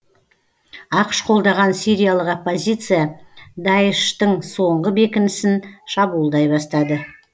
ақш қолдаған сириялық оппозиция даиш тың соңғы бекінісін шабуылдай бастады